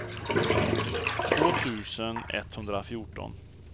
två tusen etthundrafjorton